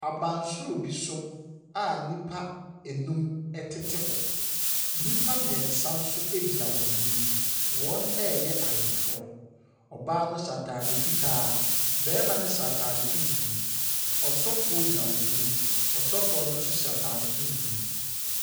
Abansoro bi so a nnipa enum ɛtete hɔ. Nnipa mmiɛnsa nso gyina wɔn anim. Wɔfreyɛ ayeforɔ. Ɔbaa no hyɛ ataade fitaa. Barima no hyɛ ataade tuntum. Ɔsofoɔ gyina wɔn anim. Ɔasofoɔ no nso hyɛ ataade tuntum.